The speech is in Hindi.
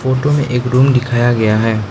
फोटो में एक रूम दिखाया गया है।